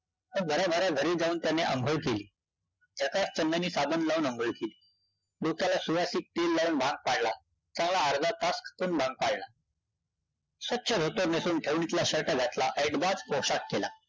भराभरा घरी जाऊन त्याने अंघोळ केली. झकास चंदनी साबण लावून अंघोळ केली. डोक्याला सुवासिक तेल लावून भांग पाडला. चांगला अर्धा तास भंग पाडला. स्वच्छ धोतर नेसवुन, ठेवणीतला shirt घातला. ऐटबाज पोशाख केला.